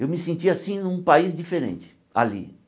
Eu me sentia assim num país diferente, ali.